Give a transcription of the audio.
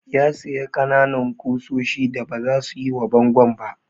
Ya sayi ƙananan ƙusoshi da baza su yi wa bangon ba.